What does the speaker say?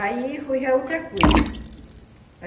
Aí foi já outra coisa, né?